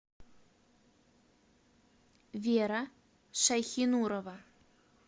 вера шайхинурова